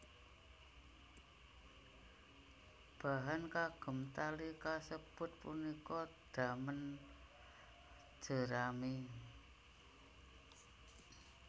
Bahan kagem tali kasebut punika damen jerami